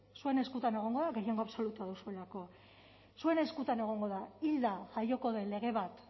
zuen eskutan egongo da gehiengo absolutua duzuelako zuen eskuetan egongo da hilda jaioko den lege bat